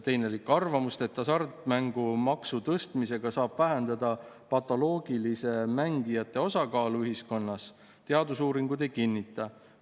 " Teine lõik: "Arvamust, et hasartmängumaksu tõstmisega saab vähendada patoloogiliste mängijate osakaalu ühiskonnas, teadusuuringud ei kinnita.